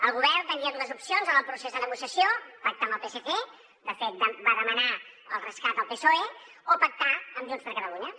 el govern tenia dues opcions en el procés de negociació pactar amb el psc de fet va demanar el rescat al psoe o pactar amb junts per catalunya